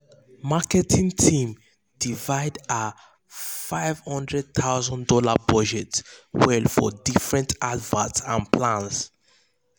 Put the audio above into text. marketing team divide their fifty thousand dollars0 budget well for different adverts and plans